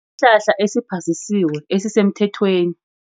Isihlahla esiphasisiwe, esisemthethweni.